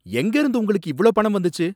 எங்கேருந்து உங்களுக்கு இவ்ளோ பணம் வந்துச்சு?